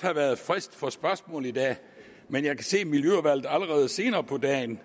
have været frist for spørgsmål i dag men jeg kan se at miljøudvalget allerede senere på dagen